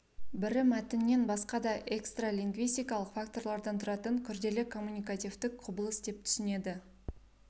бірі мәтіннен басқа да экстралингвистикалық факторлардан тұратын күрделі коммуникативтік құбылыс деп түсінеді